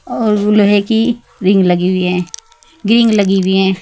और लोहे की रिंग लगी हुई है रिंग लगी हुई है।